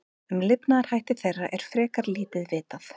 Um lifnaðarhætti þeirra er frekar lítið vitað.